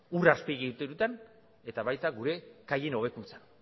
ur azpiegituretan eta baita gure kaien hobekuntzan